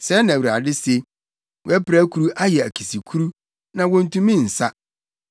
“Sɛɛ na Awurade se: “ ‘Wʼapirakuru ayɛ akisikuru, na wontumi nsa.